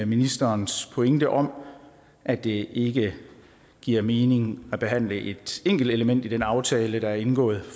ministerens pointe om at det ikke giver mening at behandle et enkeltelement i den aftale der er indgået i